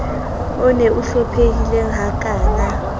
on o hlomphehileng ha kana